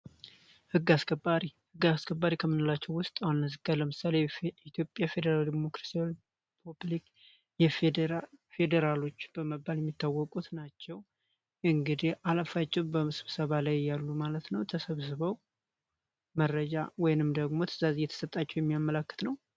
ሕጋ አስከባሪ ከምንላቸው ውስጥ አነዝጋ ለምሳል ኢትዮጵያ ፌዴራል ዲሞክራሲሪፕብሊክ ፌዴራሎች በመባል የሚታወቁት ናቸው። እንግዲህ አለፋጭው በመስብሰባ ላይ እያሉ ማለት ነው ተሰብስበው መረጃ ወይንም ደግሞ ትዛዝ የተሰጣቸው የሚያመለክት ነው።